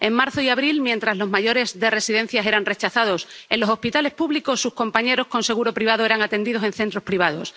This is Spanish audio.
En marzo y abril, mientras los mayores de residencias eran rechazados en los hospitales públicos, sus compañeros con seguro privado eran atendidos en centros privados.